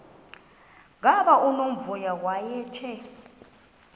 gama unomvuyo wayethe